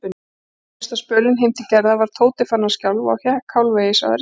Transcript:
Seinasta spölinn heim til Gerðar var Tóti farinn að skjálfa og hékk hálfvegis á Erni.